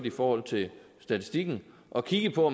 i forhold til statistikken at kigge på